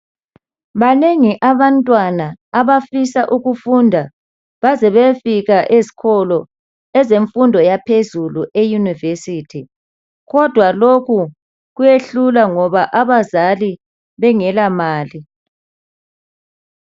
Banengi abantwana abafisa ukufunda baze bayefika ezikolo esemfundo yaphezulu eYunivesithi kodwa lokhu kuyehlula ngoba abazali bengela mali.